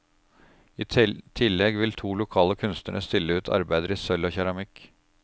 I tillegg vil to lokale kunstnere stille ut arbeider i sølv og keramikk.